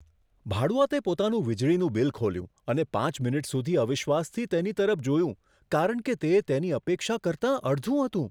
ભાડૂઆતે પોતાનું વીજળીનું બિલ ખોલ્યું અને પાંચ મિનિટ સુધી અવિશ્વાસથી તેની તરફ જોયું કારણ કે તે તેની અપેક્ષા કરતાં અડધું હતું.